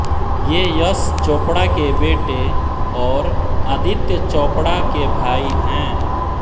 ये यश चोपड़ा के बेटे और आदित्य चोपड़ा के भाई हैं